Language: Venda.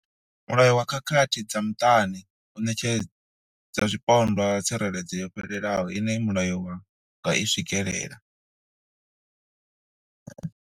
Mulayo wa khakhathi dza muṱani u ṋetshedza zwipondwa tsireledzo yo fhelelaho ine mulayo wa nga i swikela.